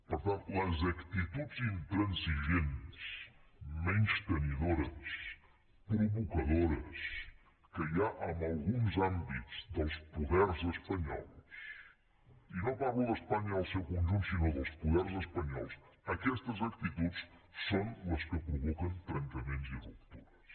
per tant les actituds intransigents menystenidores provocadores que hi ha en alguns àmbits dels poders espanyols i no parlo d’espanya en el seu conjunt sinó dels poders espanyols aquestes actituds són les que provoquen trencaments i ruptures